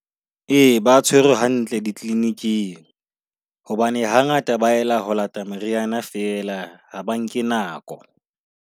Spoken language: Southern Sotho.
Ee ba tshwerwe hantle di kliniking, hobane hangata ba ela ho lata meriana fela ha ba nke nako.